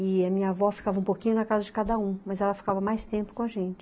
E a minha avó ficava um pouquinho na casa de cada um, mas ela ficava mais tempo com a gente.